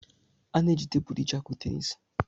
A na-eji tebụlụ iji akụ tenis.